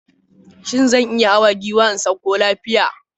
Shin zan iya hawa giwa na sauka lafiya?